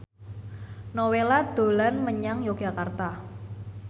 Nowela dolan menyang Yogyakarta